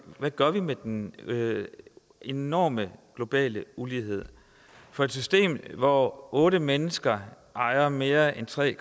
gør med den enorme globale ulighed for et system hvor otte mennesker ejer mere end tre